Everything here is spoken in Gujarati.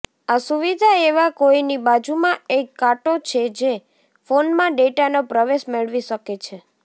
આ સુવિધા એવા કોઈની બાજુમાં એક કાંટો છે જે ફોનમાં ડેટાનો પ્રવેશ મેળવી શકે છે